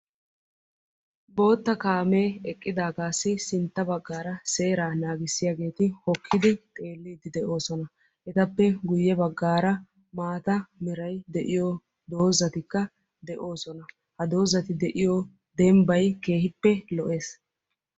Bootta kaame eqqidaagappe sintta bagan seera naagissiyagetti hokkiddi xeelosonna. Ettappe guye bagan maatta meray de'iyo doozzatti de'ossonna.